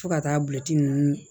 Fo ka taa bulɔki ninnu